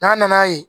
N'a nana ye